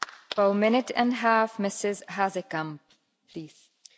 Voorzitter, elke seconde telt als je huis in brand staat.